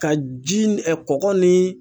Ka ji ni ɛ kɔgɔ ni